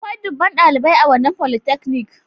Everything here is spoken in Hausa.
Akwai dubban dalibai a wannan folytechnic.